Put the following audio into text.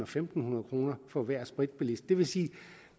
fem hundrede kroner for hver spritbilist det vil sige